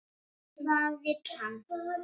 Hvað vill hann?